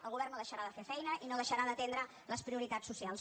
el govern no deixarà de fer feina i no deixarà d’atendre les prioritats socials